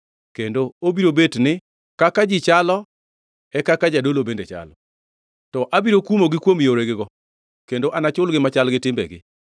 Kendo obiro bet ni: Kaka ji chalo e kaka jodolo bende chalo. To abiro kumogi kuom yoregigo, kendo anachulgi machal gi timbegi.